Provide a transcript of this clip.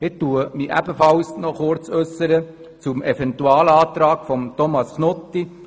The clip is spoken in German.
Ich äussere mich ebenfalls kurz zum Eventualantrag Knutti.